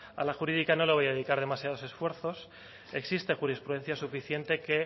a la jurídica no le voy a dedicar demasiados esfuerzos existe jurisprudencia suficiente que